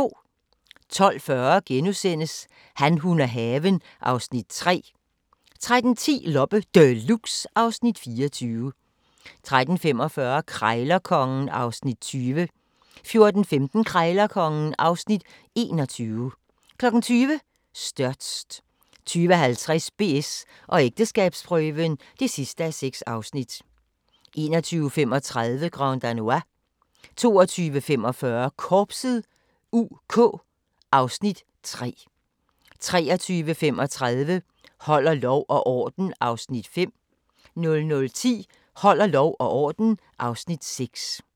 12:40: Han, hun og haven (Afs. 3)* 13:10: Loppe Deluxe (Afs. 24) 13:45: Krejlerkongen (Afs. 20) 14:15: Krejlerkongen (Afs. 21) 20:00: Størst 20:50: BS & ægteskabsprøven (6:6) 21:35: Grand Danois 22:45: Korpset (UK) (Afs. 3) 23:35: Holder lov og orden (Afs. 5) 00:10: Holder lov og orden (Afs. 6)